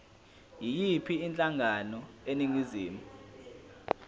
yiyiphi inhlangano eningizimu